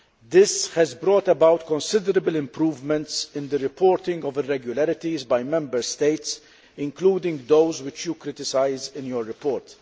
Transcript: This has brought about considerable improvements in the reporting of irregularities by Member States, including those which you criticise in your report.